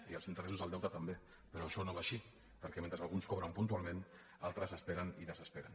i els interessos del deute també però això no va així perquè mentre alguns cobren puntualment altres esperen i desesperen